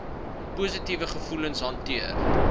positiewe gevoelens hanteer